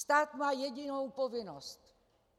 Stát má jedinou povinnost.